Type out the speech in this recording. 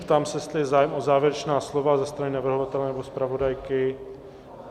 Ptám se, jestli je zájem o závěrečná slova ze strany navrhovatele nebo zpravodajky.